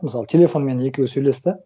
мысалы телефонмен екеуі сөйлесті